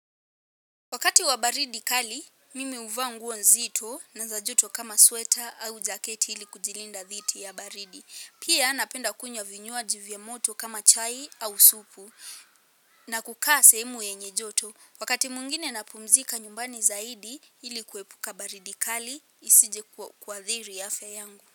Wakati wa baridi kali, mimi huvaa nguo nzito na za joto kama sweater au jaketi ili kujilinda dhidi ya baridi. Pia napenda kunywa vinywaji vya moto kama chai au supu na kukaa sehemu yenye joto. Wakati mwingine napumzika nyumbani zaidi ili kuepuka baridi kali isije kuathiri afya yangu.